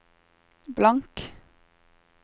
blank